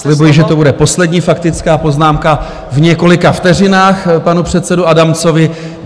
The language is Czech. Slibuji, že to bude poslední faktická poznámka v několika vteřinách panu předsedovi Adamcovi.